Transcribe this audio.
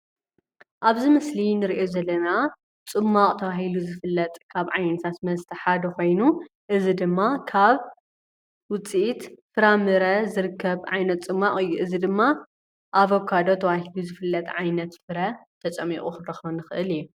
ኣብዚ ምስሊ እንሪኦ ዘለና ፅማቅ ተባሂሉ ዝፍለጥ ካብ ዓይነታት መስተ ሓደ ኮይኑ እዚ ድማ ካብ ውፅኢት ፍራምረ ዝርከብ ዓይነት ፅማቅ እዩ። እዚ ድማ ኣቨካዶ ተባሂሉ ዝፍለጥ ዓይነት ፍረ ተፀሚቁ ክንረክቦ ንክእል እዩ፡፡